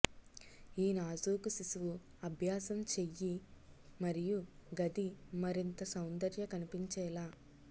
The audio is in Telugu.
ఈ నాజూకు శిశువు అభ్యాసంచెయ్యి మరియు గది మరింత సౌందర్య కనిపించేలా